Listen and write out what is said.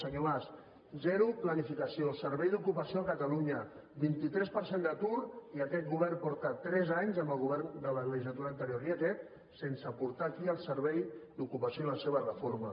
senyor mas zero planificació servei d’ocupació a catalunya vint tres per cent d’atur i aquest govern porta tres anys amb el govern de la legislatura anterior i aquesta sense portar aquí el servei d’ocupació i la seva reforma